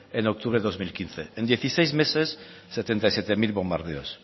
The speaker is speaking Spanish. en octubre de dos mil quince en dieciséis meses setenta y siete mil bombardeos